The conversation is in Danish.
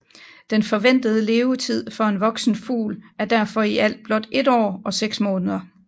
Den forventede levetid for en voksen fugl er derfor i alt blot 1 år og seks måneder